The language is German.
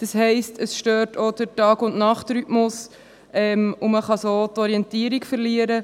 Das heisst, es stört auch den Tag- und Nachtrhythmus, und man kann so die Orientierung verlieren.